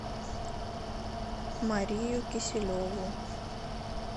марию киселеву